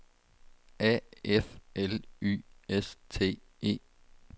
A F L Y S T E